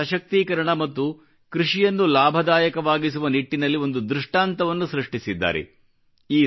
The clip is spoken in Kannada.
ಮಹಿಳೆಯರ ಸಶಕ್ತೀಕರಣ ಮತ್ತು ಕೃಷಿಯನ್ನು ಲಾಭದಾಯಕವಾಗಿಸುವ ನಿಟ್ಟಿನಲ್ಲಿ ಒಂದು ದೃಷ್ಟಾಂತವನ್ನು ಸೃಷ್ಟಿಸಿದ್ದಾರೆ